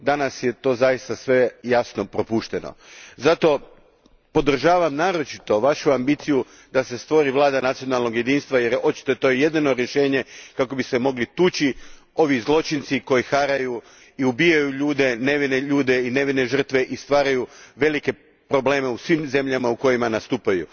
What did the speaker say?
Danas je to zaista sve, jasno, propušteno. Zato, podržavam naročitu vašu ambiciju da se stvori vlada nacionalnog jedinstva jer je očito to jedino rješenje kako bi se mogli tući ovi zločinci koji haraju i ubijaju ljude, nevine ljude i nevine žrtve i stvaraju velike probleme u svim zemljama u kojima nastupaju.